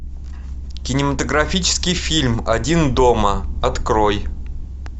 кинематографический фильм один дома открой